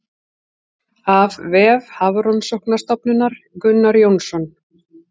Af vef Hafrannsóknastofnunar Gunnar Jónsson.